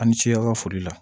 Ani cikɛyɔrɔ foli la